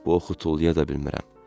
Bu oxu tullaya da bilmirəm.